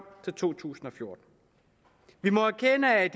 til to tusind og fjorten vi må erkende at